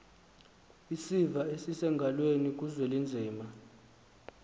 isiva esisengalweni kuzwelinzima